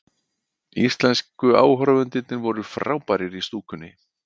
Íslensku áhorfendurnir voru frábærir í stúkunni